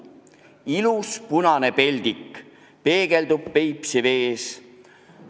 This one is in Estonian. Ilus punane peldik peegeldub Peipsi vees.